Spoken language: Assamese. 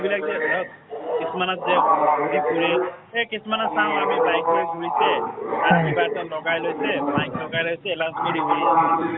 মানুহবিলাক যে কিছুমানক যে mike লৈ ঘুৰিছে লগাই লৈছে , mike লগাই লৈছে announce কৰি ঘূৰি আছে।